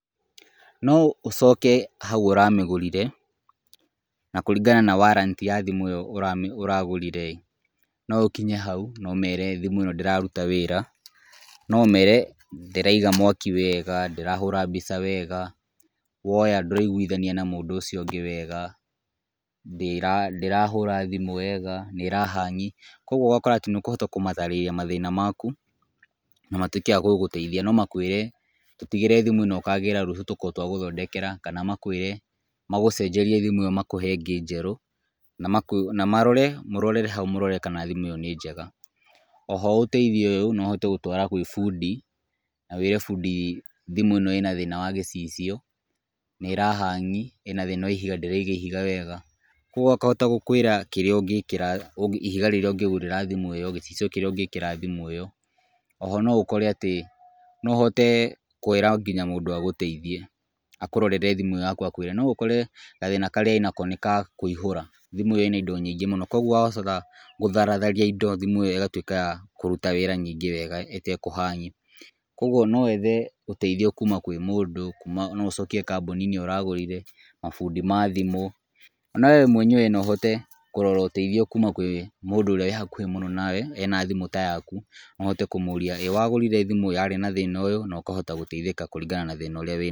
No ũcoke hau ũramĩgũrire na kũringana na [ca] warranty ya thimũ ĩyo ũragũrire ĩĩ no ũkinye hau na ũmere thimũ ĩno ndĩraruta wĩra. No ũmere ndĩraiga mwaki wega, ndĩrahũra mbica wega, woya ndũraiguithania na mũndũ ũcio ũngĩ wega, ndĩrahũra thimũ wega, nĩ ĩra hang. Koguo ũgakora atĩ nĩ ũkũhota kũmataarĩria mathĩna maku na matuĩke a gũgũteithia. No makwĩre tũtigĩre thimũ ĩno ũkagĩra rũciũ tũkorwo twagũthondekera. Kana makwĩre magũcenjerie thimũ ĩyo makũhe ingĩ njerũ, na marore mũrorere hau mũrore kana thimũ ĩyo nĩ njega. O ho ũteithio ũyũ no ũhote gũtwara gwa bundi na wĩre bundi thimũ ĩno ĩna thĩna wa gĩcicio, nĩ ĩra hang, ĩna thĩna wa ihiga ndĩraiga ihiga wega. Koguo akahota gũkwĩra kĩrĩa ũngĩkĩra ihiga rĩrĩa ũngĩgũrĩra thimũ ĩyo, gĩcicio kĩrĩa ũngĩĩkĩra thimũ ĩyo. O ho no ũkore atĩ no ũhote kwĩra nginya mũndũ agũteithie, akũrorere thimũ ĩyo yaku akwĩre no ũkore gathĩna karĩa ĩnako nĩ ka kũihũra, thimũ ĩyo yakũ ĩna indo nyingĩ mũno. Koguo gũtharatharia indo thimũ ĩyo ĩgatuĩka ya kũruta wĩra nyingĩ wega ĩtekũ hang. Koguo no wethe ũteithio kuuma kwĩ mũndũ, no ũcokie kambuniinĩ ĩyo ũragũrire, mabundi ma thimũ. Ona we mwenyewe no ũhote kũrora ũteithio kuuma kwĩ mũndũ ũrĩa wĩ hakũhĩ mũno nawe ena thimũ ta yaku , no ũhote kũmũria ĩĩ wagũrire thimũ yarĩ na thĩna ũyũ, na ũkahota gũteithĩka kũringana na thĩna ũrĩa wĩ...